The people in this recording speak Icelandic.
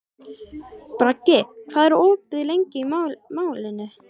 Bragi, hvað er opið lengi í Málinu?